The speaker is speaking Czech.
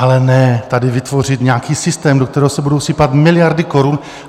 Ale ne tady vytvořit nějaký systém, do kterého se budou sypat miliardy korun.